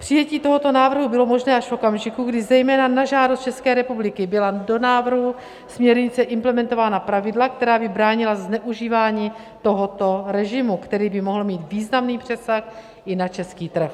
Přijetí tohoto návrhu bylo možné až v okamžiku, kdy zejména na žádost České republiky byla do návrhu směrnice implementována pravidla, která by bránila zneužívání tohoto režimu, který by mohl mít významný přesah i na český trh.